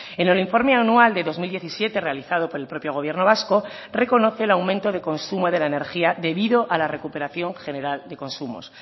en el informe anual de dos mil diecisiete realizado por el propio gobierno vasco reconoce el aumento de consumo de la energía debido a la recuperación general de consumos